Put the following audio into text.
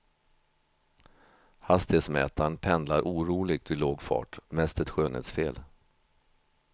Hastighetsmätaren pendlar oroligt vid lågfart, mest ett skönhetsfel.